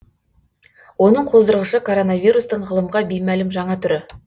оның қоздырғышы коронавирустың ғылымға беймәлім жаңа түрі